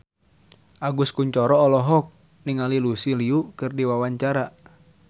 Agus Kuncoro olohok ningali Lucy Liu keur diwawancara